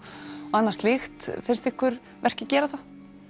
annað slíkt finnst ykkur verkið gera það